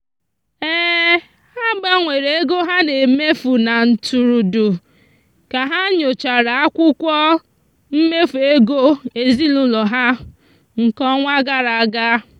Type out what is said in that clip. ha gbanwere ego ha na-emefu na ntụrụndụ ka ha nyochara akwụkwọ mmefu ego ezinụụlọ ha nke ọnwa gara aga.